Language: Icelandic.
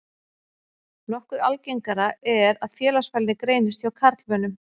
Nokkuð algengara er að félagsfælni greinist hjá karlmönnum.